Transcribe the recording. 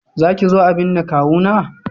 Za ki zo a binne kawuna?